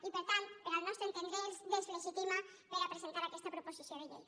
i per tant al nostre entendre els deslegitima per a presentar aquesta proposició de llei